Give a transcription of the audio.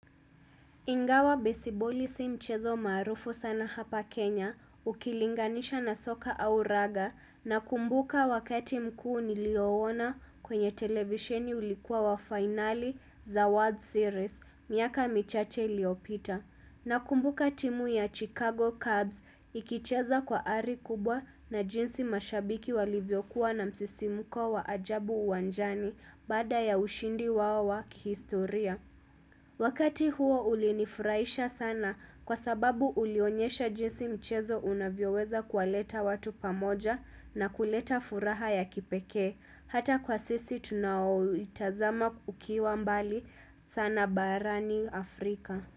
Ingawa besiboli si mchezo maarufu sana hapa Kenya ukilinganisha na soka au raga nakumbuka wakati mkuu niliyouona kwenye televisheni ulikuwa wa fainali za World Series miaka michache iliyopita. Na kumbuka timu ya Chicago Cubs ikicheza kwa ari kubwa na jinsi mashabiki walivyokuwa na msisimko wa ajabu uwanjani baada ya ushindi wao wa kihistoria. Wakati huo ulinifurahisha sana kwa sababu ulionyesha jinsi mchezo unavyoweza kuwaleta watu pamoja na kuleta furaha ya kipekee. Hata kwa sisi tunaoitazama ukiwa mbali sana baarani Afrika.